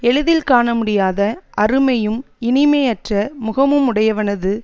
எளிதில் காணமுடியாத அருமையும் இனிமையற்ற முகமும் உடையவனது